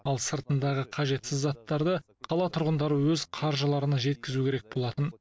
ал сыртындағы қажетсіз заттарды қала тұрғындары өз қаржыларына жеткізу керек болатын